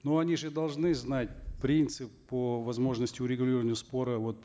ну они же должны знать принцип по возможности урегулирования спора вот